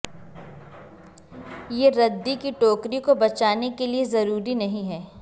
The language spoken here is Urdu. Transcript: یہ ردی کی ٹوکری کو بچانے کے لئے ضروری نہیں ہے